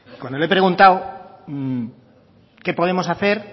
cuando le he preguntado qué podemos hacer